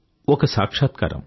ఒక సాక్షాత్కారం